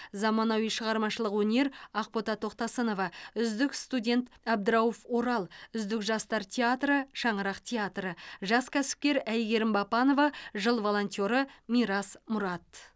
заманауи шығармашылық өнер ақбота тоқтасынова үздік студент абдрауф орал үздік жастар театры шаңырақ театры жас кәсіпкер айгерім бапанова жыл волонтеры мирас мұрат